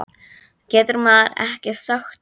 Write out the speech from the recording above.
Getur maður ekki sagt það?